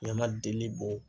Ɲama deli bɔ.